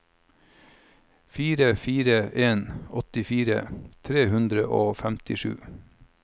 fire fire fire en åttitre tre hundre og femtisju